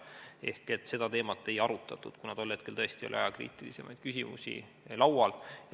Ehk seda teemat ei arutatud, kuna tol hetkel tõesti oli ajakriitilisemaid küsimusi laual.